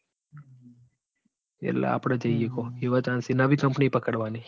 વેલા આપડે જય એકુ એવું company પકડવાની બરાબર